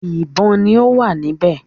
ìbọn ni ọ wá níbè